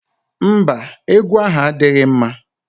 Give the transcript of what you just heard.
Mba, egwu ahụ adịghị mma